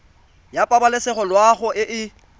ya pabalesego loago e e